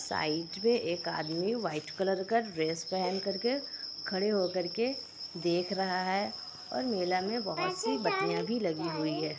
Side में एक आदमी व्हाइट कलर का ड्रेस पहन कर के खड़े हो कर के देख रहा है। और मेला मे बहोत -सी बत्तियां भी लगी हुई है।